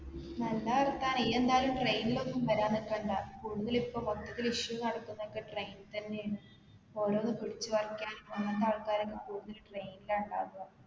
നല്ല വർത്താനം ഇയ്യ്‌ എന്തായാലും train ൽ ഒന്നും വരാൻ നിക്കണ്ട കൂടുതൽ ഇപ്പൊ മൊത്തത്തിൽ issue നടക്കുന്നൊക്കെ train തന്നെയാണ് ഓരോന്ന് പിടിച്ച് പറിക്കാനും അങ്ങനത്തെ ആൾക്കാരൊക്കെ കൂടുതൽ train ലാ ഇണ്ടാവാ